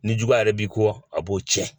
Ni juguya yɛrɛ b'i kɔ a b'o cɛn